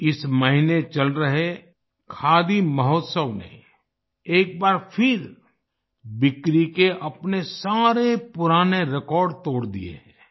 इस महीने चल रहे खादी महोत्सव ने एक बार फिर बिक्री के अपने सारे पुराने रिकॉर्ड तोड़ दिए हैं